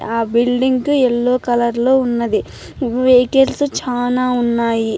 ఆ building yellow colour లో ఉన్నది. వెహికల్స్ చానా ఉన్నాయి.